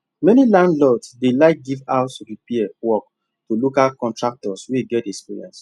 many landlords dey like give house repair work to local contractors wey get experience